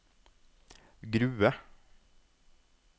Grue